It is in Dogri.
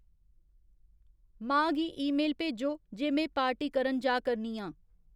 मां गी ईमेल भेजो जे में पार्टी करन जा करनी आं